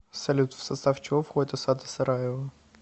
салют в состав чего входит осада сараева